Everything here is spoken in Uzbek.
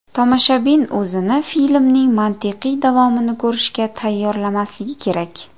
Tomoshabin o‘zini filmning mantiqiy davomini ko‘rishga tayyorlamasligi kerak.